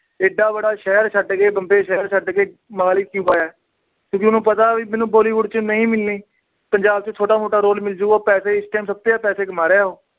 ਏਡਾ ਬੜਾ ਸ਼ਹਿਰ ਛੱਡ ਕੇ, ਬੰਬੇ ਸ਼ਹਿਰ ਛੱਡ ਕੇ। ਮੋਹਾਲੀ ਕਿਉਂ ਆਇਆ ਕਿਉਂਕਿ ਉਹਨੂੰ ਪਤਾ ਮੈਨੂੰ bollywood ਚ ਨਹੀਂ ਮਿਲਣੀ। ਪੰਜਾਬ ਚ ਛੋਟਾ ਮੋਟਾ role ਮਿਲਜੂਗਾ। ਪੈਸੇ ਇਸ time ਸਭ ਤੋਂ ਜਿਆਦਾ ਪੈਸੇ ਕਮਾ ਰਿਹਾ ਉਹ।